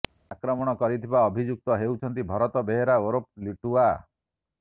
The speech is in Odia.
ଆକ୍ରମଣ କରିଥିବା ଅଭିଯୁକ୍ତ ହେଉଛନ୍ତି ଭରତ ବେହେରା ଓରଫ ଲିଟୁଆ